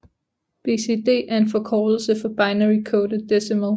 BCD er en forkortelse for binary coded decimal